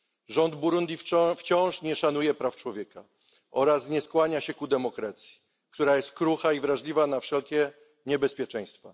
Rząd Burundi wciąż nie szanuje praw człowieka oraz nie skłania się ku demokracji, która jest krucha i wrażliwa na wszelkie niebezpieczeństwa.